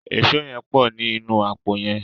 Èṣó yén pọ ní inú àpò yén.